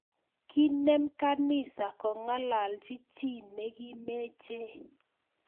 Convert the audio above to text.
Kinem kanisa kongalachi chi ne kimeche